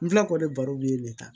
N filɛ k'o de baro yen ne ta